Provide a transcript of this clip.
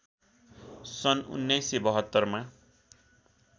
सन् १९७२ मा